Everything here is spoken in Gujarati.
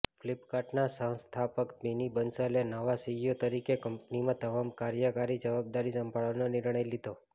ફ્લિપકાર્ટના સહસ્થાપક બિની બંસલે નવા સીઇઓ તરીકે કંપનીની તમામ કાર્યકારી જવાબદારી સંભાળવાનો નિર્ણય લીધો